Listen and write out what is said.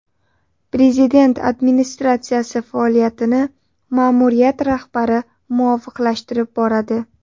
Prezident administratsiyasi faoliyatini ma’muriyat rahbari muvofiqlashtirib boradi.